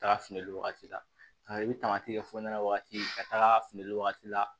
Taga fili wagati la i bɛ taamati kɛ fɔ ɲɛna wagati ka taga fili wagati la